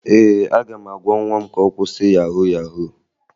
Ee, aga m agwa nwa m ka ọ kwụsị yahu yahu